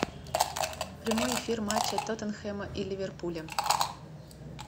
прямой эфир матча тоттенхэма и ливерпуля